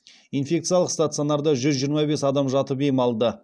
инфекциялық стационарда жүз жиырма бес адам жатып ем алды